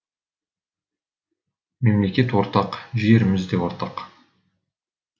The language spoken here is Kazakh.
мемлекет ортақ жеріміз де ортақ